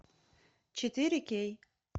четыре кей